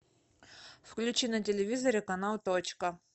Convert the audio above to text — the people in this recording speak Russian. включи на телевизоре канал точка